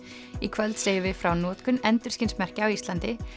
í kvöld segjum við frá notkun endurskinsmerkja á Íslandi